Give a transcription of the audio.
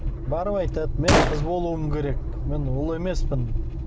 барып айтады мен қыз болуым керек мен ұл емеспін